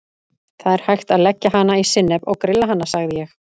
Það er hægt að leggja hana í sinnep og grilla hana sagði ég.